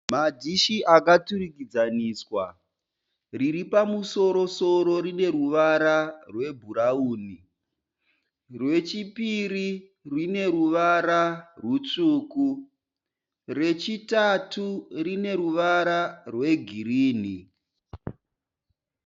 Madhishi akaturikidzaniswa. Riri pamusoro-soro rine ruvara rwebhurauni. Rwechipiri rine ruvara rutsvuku, rechitatu rine ruvara rwegirini.